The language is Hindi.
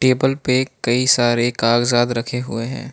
टेबल पे कई सारे कागजात रखे हुए हैं।